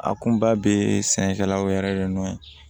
A kunba bee sɛnɛkɛlaw yɛrɛ de nɔ